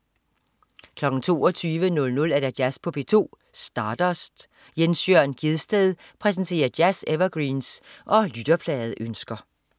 22.00 Jazz på P2. Stardust. Jens Jørn Gjedsted præsenterer jazz-evergreens og lytterpladeønsker